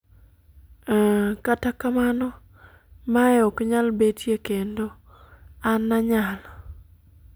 kata kamano, mae ok nyal betie kendo, an anyalo